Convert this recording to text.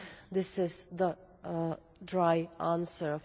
This is the dry answer.